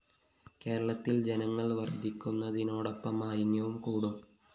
കേരളത്തില്‍ ജനങ്ങള്‍ വര്‍ധിക്കുന്നതിനോടൊപ്പം മാലിന്യവും കൂടും